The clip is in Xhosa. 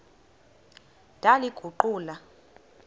ndaliguqula